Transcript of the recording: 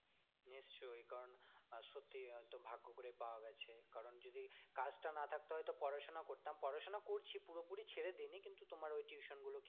নিশ্চই কারণ আহ সত্যি হয়ত ভাগ্য করে পাওয়া গেছে কারণ যদি কাজটা না থাকতো হয়ত পড়াশোনা করতাম, পড়াশোনা করছি পুরোপুরি ছেড়ে দিইনি কিন্তু তোমার ওই tuition গুলো কিছু